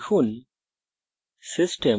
এখন লিখুন